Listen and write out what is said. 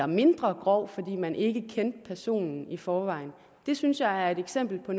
mindre grov fordi man ikke kendte personen i forvejen det synes jeg er et eksempel på